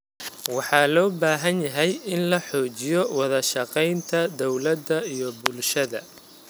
Waxa loo baahan yahay in la xoojiyo wada shaqaynta dawladda iyo bulshada.